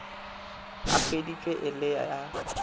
a hweditšwe e le a